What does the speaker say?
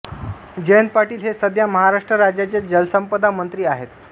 जयंत पाटील हे सध्या महाराष्ट्र राज्याचे जलसंपदामंत्री आहेत